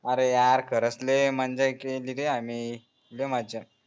आरे यार खरंच लय मंजा केलीरे आम्ही लय मजा